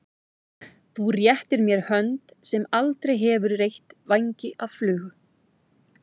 Þú réttir mér hönd sem aldrei hefur reytt vængi af flugu.